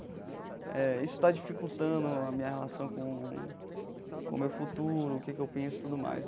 Eh isso está dificultando a minha relação com com o meu futuro, o que que eu penso e tudo mais.